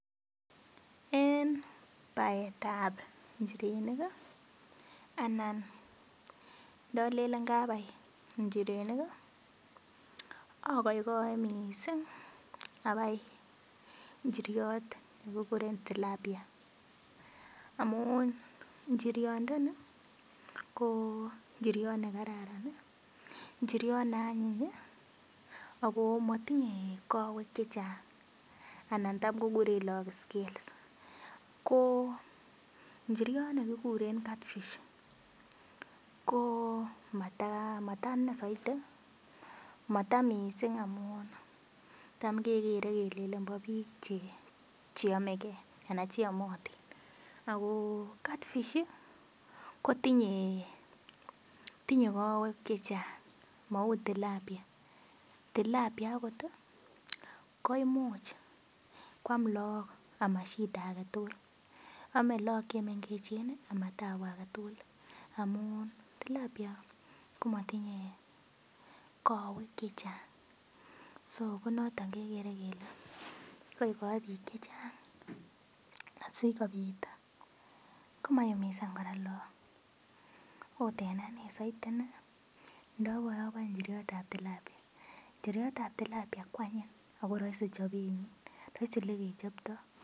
En baetab njirenik iianan ndolelen kabi njirenik ii agoigoi missing abai njiryot nekikuren Tilapia, amun njiryondani ko njiryot nekararan ii, njiryot neanyiny ii, ako motinye kowek chechang anan tam kokuren lagok scales ko njiryot nekikuren Catfish ko matainei soiti, mataa missing amun tom kekere kelelen bo biik cheomegen anan cheomotin, ako Catfish i kotinye kowek chechang mou Tilapia, Tilapia akot ii koimuch koam lagok ako mashida agetugul, ome lagok chemengechen amatabu agetugul amun Tilapia komotinye kowek chechang so ko noton kegere kele igoigoi biik chechang asikobit komaumisan kora lagok, ot en anee soiti ndoboe oboe njiryot ab Tilapia, njiryot ab Tilapia kwanyiny ako roisi chobenyin, roisi olegechobtoi.